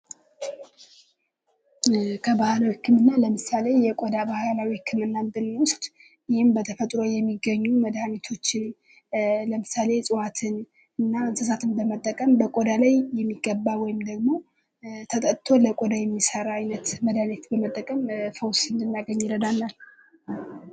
ከባህል ህክምና ለምሳሌ የቆዳ ባህል ህክምናን ብናይ በተፈጥሮ የሚገኙ ፤ማለትም እፅዋትን በመጠቀም የሚደረግ ህክምና ነው።